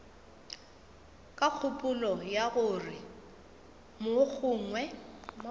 ka kgopolo ya gore mogongwe